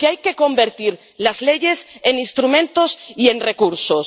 Porque hay que convertir las leyes en instrumentos y en recursos.